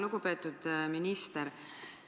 Lugupeetud minister!